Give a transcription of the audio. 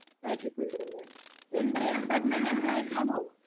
IT field തന്നെയാ. രണ്ടു പേരും permanent employees ആണോ?